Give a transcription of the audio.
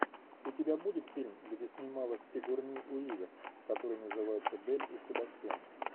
у тебя будет фильм где снималась сигурни уивер который называется белль и себастьян